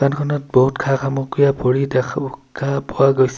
খনত বহুত খা সামগ্ৰীৰে ভৰি দেখা খা পোৱা গৈছে।